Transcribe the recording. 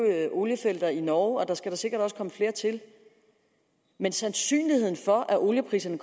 oliefelter i norge og der skal da sikkert også nok komme flere til men sandsynligheden for at oliepriserne